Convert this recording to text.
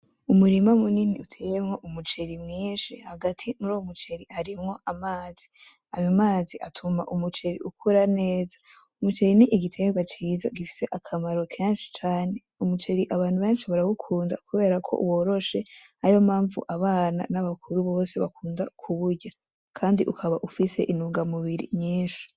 Umurima munini uteyemwo umuceri mwinshi. Hagati muri uwo muceri harimwo amazi. Ayo mazi atuma umuceri ukura neza. Umuceri ni igiterwa ciza gifise akamaro kenshi cane. Umuceri abantu benshi barawukunda kubera ko woroshe, ariyo mpamvu abana n'abagore bose bakunda kuwurya. Kandi ukaba ufise intungamubiri nyinshi.